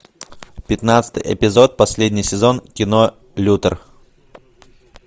пятнадцатый эпизод последний сезон кино лютер